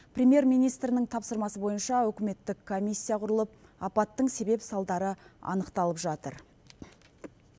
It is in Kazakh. премьер министрінің тапсырмасы бойынша үкіметтік комиссия құрылып апаттың себеп салдары анықталып жатыр